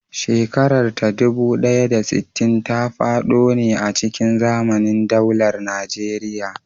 Shekarar ta dubu ɗaya da sittin ta faɗo ne a cikin zamanin daular Najeriya.